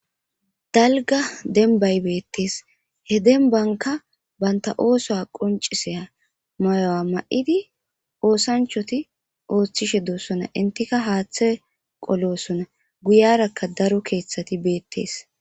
dalga denbay beettees he denbanka banta oosoa qonciseya mayowa ma7idi oosanchoti ooththishe doossona intika haaththe qolossona guyarakka daro keeththati beettees